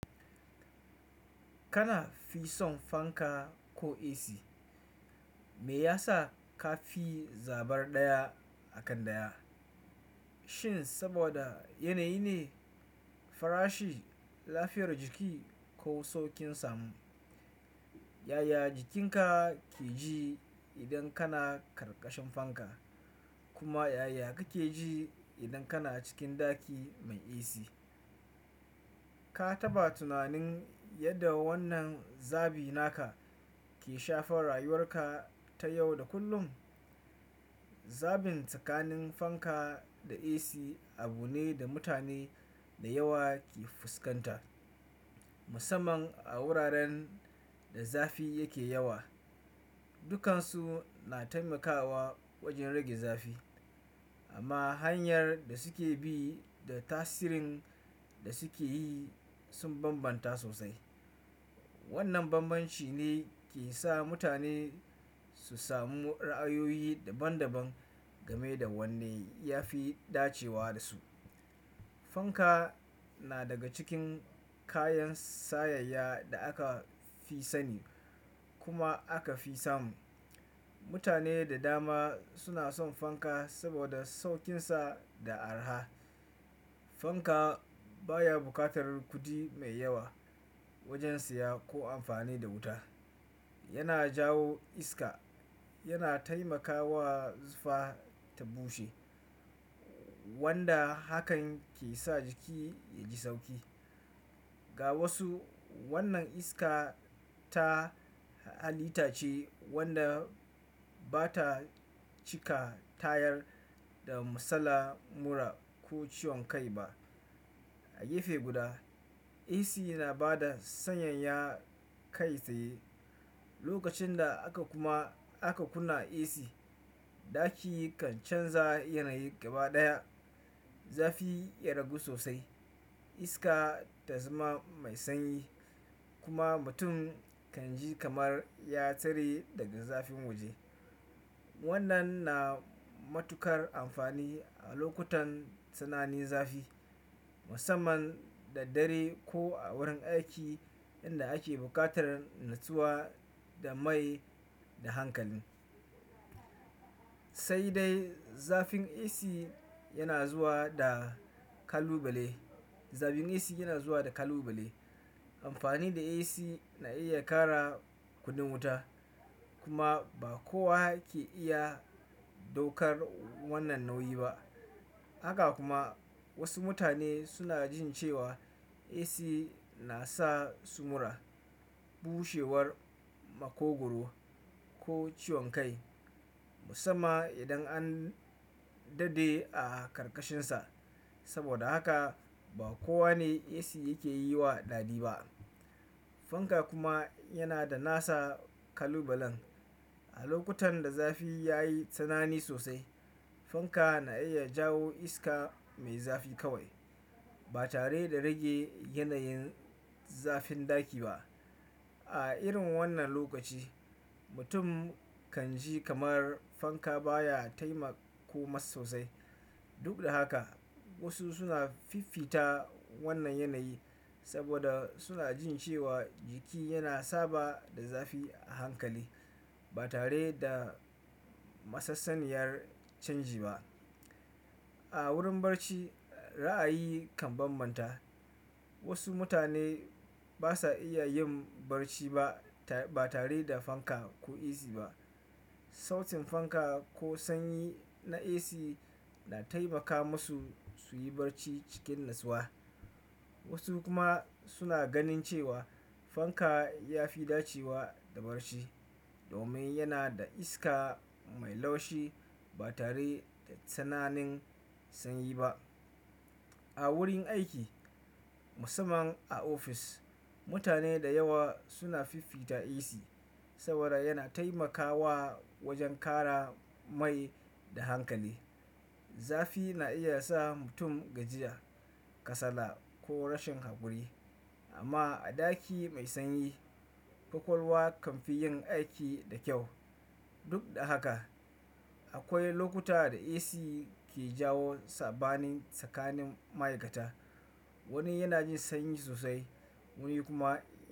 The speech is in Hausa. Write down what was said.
Kana fi son fanka ko AC? Me yasa ka fi zabar ɗaya a kan ɗaya? Shin saboda yanayi ne, farashi, lafiyar jiki ko saukin samu? Yaya jikinka ke ji idan kana ƙarƙashin fanka kuma yaya kake ji idan kana cikin ɗaki mai AC? Ka taɓa tunanin yadda wannan zabi naka ke shafar rayuwarka ta yau da kullum? Zabin tsakanin fanka da AC abu ne da mutane da yawa ke fuskanta, musamman a wuraren da zafi yake yawa. Dukansu na taimakawa wajen rage zafi amma hanyar da suke bi da tasirin da suke yi sun bambanta sosai. Wannan bambanci ne ke sa mutane su samu ra'ayoyi daban-daban game da wanne ya fi dacewa da su. Fanka na daga cikin kayan sayayya da aka fi sani kuma aka fi samu. Mutane da dama suna son fanka saboda saukinsa da araha. Fanka baya buƙatar kuɗi mai yawa wajen siya ko amfani da wuta. Yana jawo iska, yana taimakawa zufa ta bushe wanda hakan ke sa jiki yaji sauƙi. Ga wasu, wannan iska ta halittace wanda bata cika tayar da matsalan mura ko ciwon kai ba. A gefe guda, AC na ba da sanyayya kai tsaye. Lokacin da aka kuma, aka kunna AC, ɗaki kan canza yanayi gaba ɗaya. Zafi ya ragu sosai, iska ta zama mai sanyi kuma mutum kan ji kamar ya tare daga zafin waje. Wannan na matukar amfani a lokutan tsananin zafi, musamman da dare ko a wurin aiki inda ake buƙatar natsuwa da mai da hankali. Sai dai zafin AC yana zuwa da kalubale. Zabin AC yana zuwa da kalubale. Amfani da AC na iya ƙara kuɗin wuta kuma ba kowa ke iya ɗaukar wannan nauyi ba. Haka kuma wasu mutane suna jin cewa AC nasa su mura, bushewar makogwaro ko ciwon kai musamman idan an dade a ƙarƙashinsa. Saboda haka ba kowane AC yake yi wa daɗi ba. Fanka kuma yana da nasa kalubalen. A lokutan da zafi ya yi tsanani sosai, fanka na iya jawo iska mai zafi kawai ba tare da rage yanayin zafin ɗaki ba. A irin wannan lokaci, mutum kan ji kamar fanka baya taimako masa sosai. Duk da haka wasu suna fifita wannan yanayi saboda suna jin cewa jiki yana saba da zafi a hankali ba tare da masassaniyar canji ba. A wurin barci ra'ayi kan bambanta. Wasu mutane basa iya yin barci ba tare da fanka ko AC ba. Sautin fanka ko sanyi na AC na taimaka masu su yi barci cikin natsuwa. Wasu kuma suna ganin cewa fanka ya fi dacewa da barci domin yana da iska mai laushi ba tare da tsananin sanyi ba. A wurin aiki musamman a ofis, mutane da yawa suna fifita AC saboda yana taimakawa wajen ƙara mai da hankali. Zafi na iya sa mutum gajiya, kasala ko rashin haƙuri amma a ɗaki mai sanyi, ƙwaƙwalwa kanfi yin aiki da kyau. Duk da haka akwai lokuta da AC ke jawo saɓanin tsakanin ma'aikata. Wani yana jin sanyi sosai, wani kuma.